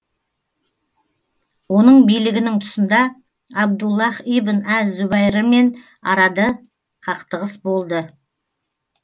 оның билігінің тұсында абдуллаһ ибн әз зубайрмен арады қақтығыс болды